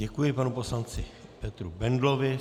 Děkuji panu poslanci Petru Bendlovi.